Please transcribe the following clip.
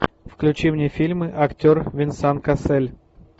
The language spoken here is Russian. включи мне фильмы актер венсан кассель